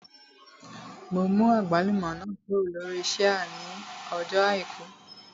Mo mú àgbálùmọ́ náà kúrò lórí ṣíà ní ọjọ́ àìkú